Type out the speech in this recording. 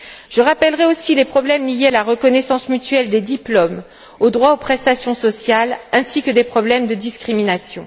Je rappellerai aussi les problèmes liés à la reconnaissance mutuelle des diplômes et au droit aux prestations sociales ainsi que les problèmes de discrimination.